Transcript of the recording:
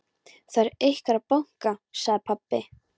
Það er einhver að banka, sagði pabbi.